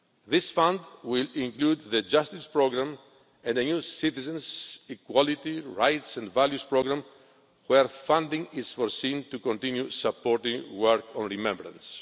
This fund will include the Justice programme and a new Citizens, Equality, Rights and Values programme whereby funding is made available to continue supporting work on remembrance.